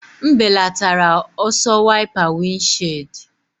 M belatara ọsọ wiper windshield.